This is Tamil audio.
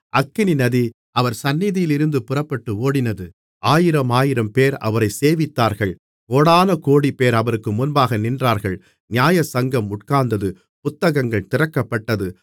அக்கினி நதி அவர் சந்நிதியிலிருந்து புறப்பட்டு ஓடினது ஆயிரமாயிரம்பேர் அவரைச் சேவித்தார்கள் கோடானகோடிபேர் அவருக்கு முன்பாக நின்றார்கள் நியாயசங்கம் உட்கார்ந்தது புத்தகங்கள் திறக்கப்பட்டது